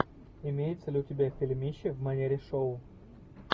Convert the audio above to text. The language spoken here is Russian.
имеется ли у тебя фильмище в манере шоу